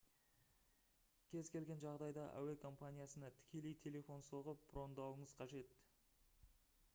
кез келген жағдайда әуе компаниясына тікелей телефон соғып брондауыңыз қажет